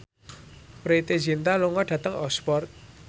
Preity Zinta lunga dhateng Oxford